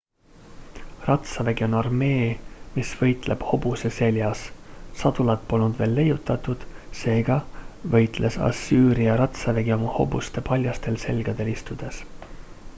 ratsavägi on armee mis võitleb hobuse seljas sadulat polnud veel leiutatud seega võitles assüüria ratsavägi oma hobuste paljastel selgadel istudes